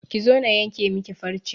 Ki zo na yanke miki farce!